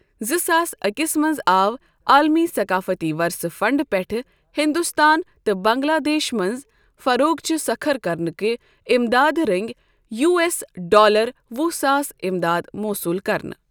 زٕ ساس أکِس منٛز آو عٲلمی ثقافتی ورثہ فنٛڈ پٮ۪ٹھہٕ ہِنٛدوستان تہ بنٛگلہ دیشس منٛز فروغچۍ سكھر كرنٕہ کِہ اِمدادٕ رنگۍ یو ایس ڈالر وُہ ساس امداد موصوٗل كرنہٕ ۔